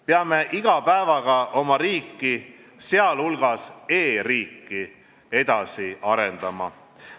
Peame iga päevaga oma riiki, sh e-riiki edasi arendama.